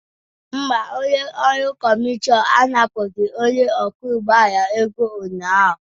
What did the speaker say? Mba, onye ọrụ kọmishọn anapụghị onye ọkwọ ụgbọ ala ego ụnyahụ